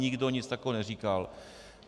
Nikdo nic takového neříkal.